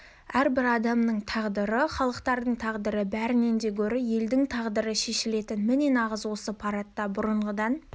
әрбір адамның тағдыры халықтардың тағдыры бәрінен де гөрі елдің тағдыры шешілетін міне нағыз осы парадта бұрынғыдан